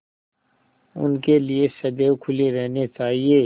उनके लिए सदैव खुले रहने चाहिए